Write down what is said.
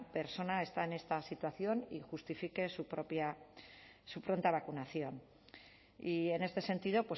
persona está en esta situación y justifique su pronta vacunación y en este sentido